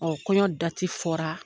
kɔɲɔ dati fɔra